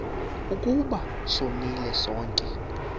ukuba sonile sonke